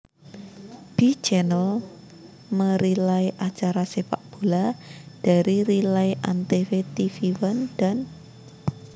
B Channel merelay acara sepakbola dari relay antv tvOne dan